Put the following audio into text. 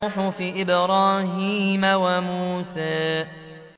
صُحُفِ إِبْرَاهِيمَ وَمُوسَىٰ